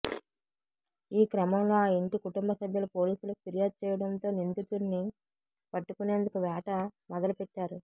ఆ క్రమంలో ఆ ఇంటి కుటుంబ సభ్యులు పోలీసులకు ఫిర్యాదు చేయడంతో నిందితుడిని పట్టుకునేందుకు వేట మొదలుపెట్టారు